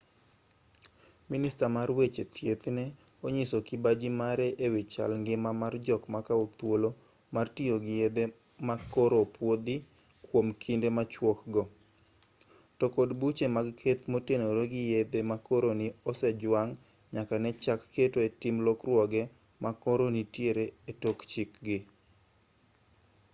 minista mar weche thieth ne onyiso kibaji mare e wi chal ngima mar jok makao thuolo mar tiyo gi yedhe ma koro opuodhi kuom kinde machuok go to kod buche mag keth motenore gi yedhe ma koro ni osejwang' nyaka ne chak keto e tim lokruoge ma koro nitiere e tok chik gi